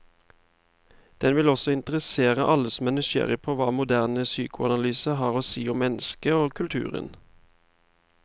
Den vil også interessere alle som er nysgjerrig på hva moderne psykoanalyse har å si om mennesket og kulturen.